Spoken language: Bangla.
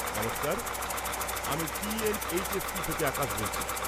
নমস্কার, আমি T N H S P থেকে আকাশ বলছি।